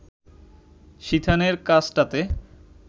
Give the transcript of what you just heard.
সিথানের কাছটাতে